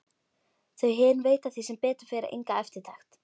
Þau hin veita því sem betur fer enga eftirtekt.